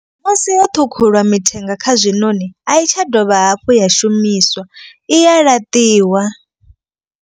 Musi ho ṱhukhuliwa mithenga kha zwinoni a i tsha dovha hafhu ya shumiswa i ya laṱiwa.